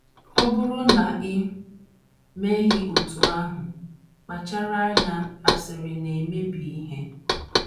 Ọ bụrụ na i meghị otú ahụ, kpachara anya asịrị na - emebi ihe.